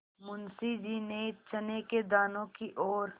मुंशी जी ने चने के दानों की ओर